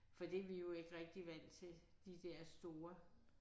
For det er vi jo ikke rigtig vant til de der store